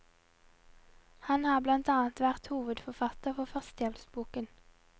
Han har blant annet vært hovedforfatter for førstehjelpsboken.